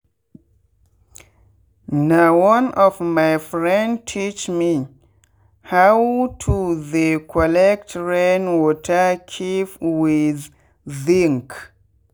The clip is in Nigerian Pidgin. na one of my friend teach me how to they collect rain water keep with zinc.